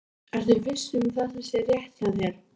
Ertu viss um að þetta sé rétt hjá þér?